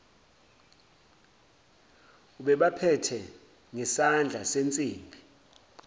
ubebaphethe ngesandla sensimbi